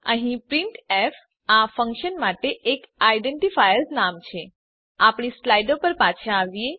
અહીં પ્રિન્ટફ આ ફંક્શન માટે એક આઇડેન્ટિફાયર નામ છે આપણી સ્લાઈડો પર પાછા આવીએ